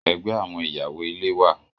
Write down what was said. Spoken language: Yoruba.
Ẹgbẹ́ àwọn ìyàwó-ilé wà.